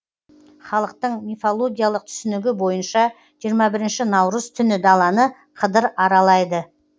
халықтың мифологиялық түсінігі бойынша жиырма бірінші наурыз түні даланы қыдыр аралайды